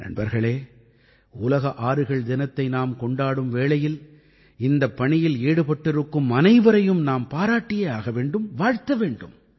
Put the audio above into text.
நண்பர்களே உலக ஆறுகள் தினத்தை நாம் கொண்டாடும் வேளையில் இந்தப் பணியில் ஈடுபட்டிருக்கும் அனைவரையும் நாம் பாராட்டியே ஆக வேண்டும் வாழ்த்த வேண்டும்